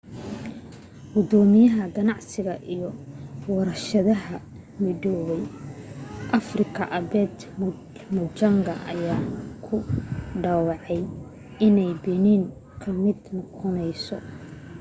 gudoomiyaha ganacsiga iyo warshadaha midowga afrika albert muchanga ayaa ku dhawaaqay inay benin ka mid noqonayso